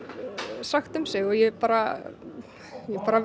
sagt um sig og ég er bara